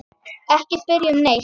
Ekki spyrja um neitt.